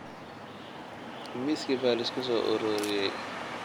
Miiskii baa la isku soo ururiyey